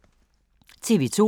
TV 2